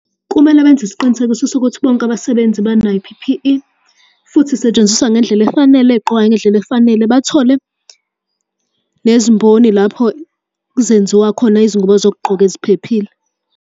Kumele benze isiqinisekiso sokuthi bonke abasebenzi banayo i-P_P_E, futhi isetshenziswa ngendlela efanele, igqokwa ngendlela efanele. Bathole nezimboni lapho zenziwa khona izingubo zokugqoka eziphephile.